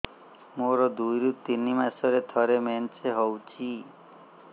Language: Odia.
ମୋର ଦୁଇରୁ ତିନି ମାସରେ ଥରେ ମେନ୍ସ ହଉଚି